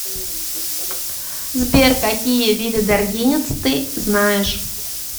сбер какие виды даргинец ты знаешь